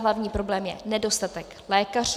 Hlavní problém je nedostatek lékařů.